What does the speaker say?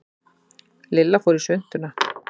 Lilla fór í svuntuna.